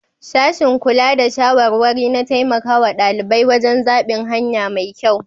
Sashin Kula da shawarari na taimakawa dalibai wajen zabin hanya mai kyau.